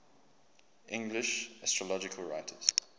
english astrological writers